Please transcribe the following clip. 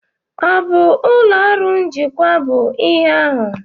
Ọ bụ ụlọ ọrụ njikwa bụ ihe ahụ?